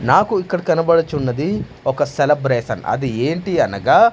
నాకు ఇక్కడ కనబడుచున్నది ఒక సెలబ్రేషన్ అది ఏంటి అనగా.